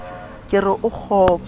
ke re o kgopo le